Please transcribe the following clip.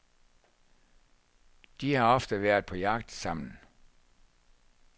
De har ofte været på jagt sammen.